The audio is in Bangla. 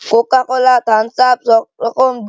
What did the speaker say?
কোকা কোলা থাম্বস আপ সবরকম--